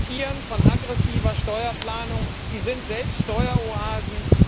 Sie profitieren von aggressiver Steuerplanung, sie sind selbst Steueroasen.